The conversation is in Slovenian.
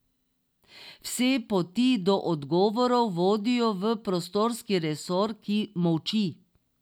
Vse poti do odgovorov vodijo v prostorski resor, ki molči.